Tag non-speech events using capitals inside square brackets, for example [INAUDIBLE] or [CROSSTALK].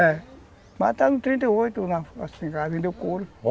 É, mataram um trinta e oito, assim, [UNINTELLIGIBLE] e aí vendeu couro.